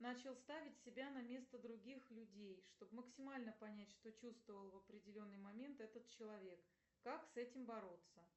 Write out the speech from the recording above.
начал ставить себя на место других людей что б максимально понять что чувствовал в определенный момент этот человек как с этим бороться